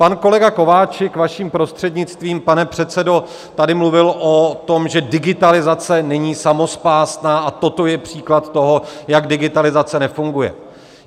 Pan kolega Kováčik, vaším prostřednictvím, pane předsedo, tady mluvil o tom, že digitalizace není samospásná a toto je příklad toho, jak digitalizace nefunguje.